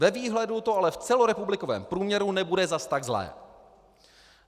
Ve výhledu to ale v celorepublikovém průměru nebude zas tak zlé.